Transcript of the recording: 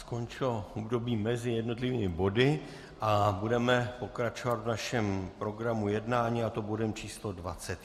Skončilo údobí mezi jednotlivými body a budeme pokračovat v našem programu jednání, a to bodem číslo